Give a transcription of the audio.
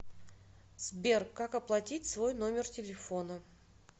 сбер как оплатить свой номер телефона